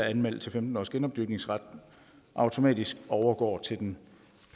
anmeldt til femten års genopdyrkningsret automatisk overgår til den